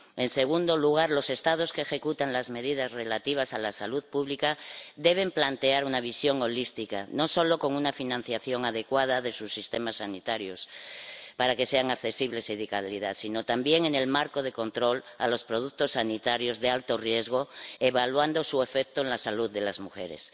En segundo lugar, los Estados que ejecutan las medidas relativas a la salud pública deben plantear una visión holística, no solo con una financiación adecuada de sus sistemas sanitarios para que sean accesibles y de calidad, sino también en el marco de control a los productos sanitarios de alto riesgo, evaluando su efecto en la salud de las mujeres.